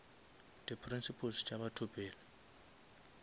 di principles tša batho pele